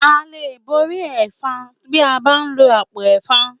À lè borí ẹ̀fan bí a bá lo àpò ẹ̀fan.